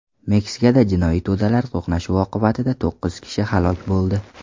Meksikada jinoiy to‘dalar to‘qnashuvi oqibatida to‘qqiz kishi halok bo‘ldi.